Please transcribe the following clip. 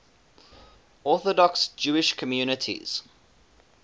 orthodox jewish communities